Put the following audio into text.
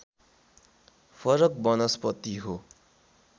फरक वनस्पति हो